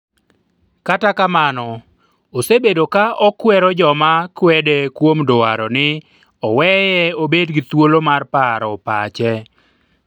kata kamano, osebedo ka okwero joma kwede kuom dwaro ni oweye obed gi thuolo mar paro pache